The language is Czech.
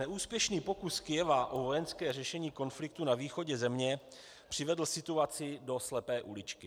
Neúspěšný pokus Kyjeva o vojenské řešení konfliktu na východě země přivedl situaci do slepé uličky.